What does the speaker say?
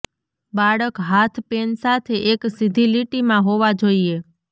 બાળક હાથ પેન સાથે એક સીધી લીટીમાં હોવા જોઈએ